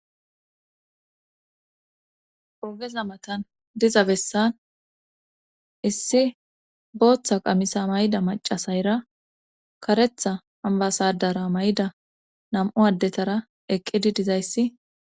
Ogeza matan diza bessan issi booththa qamisa mayda macasayra karetha ambasadara may'da nam'u addetara eqqidi dizayssi.